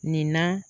Nin na